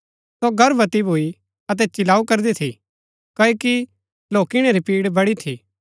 सो गर्भवती भूई अतै चिलाऊ करदी थी क्ओकि लौकिणै री पिड़ बडी थी